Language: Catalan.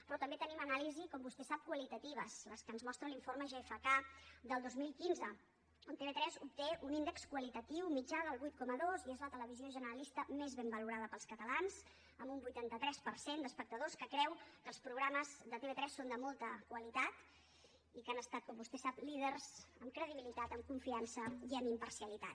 però també tenim anàlisis com vostè sap qualitatives les que ens mostra l’informe gfk del dos mil quinze on tv3 obté un índex qualitatiu mitjà del vuit coma dos i és la televisió generalista més ben valorada pels catalans amb un vuitanta tres per cent d’espectadors que creu que els programes de tv3 són de molta qualitat i que han estat com vostè sap líders en credibilitat en confiança i en imparcialitat